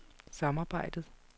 samarbejdet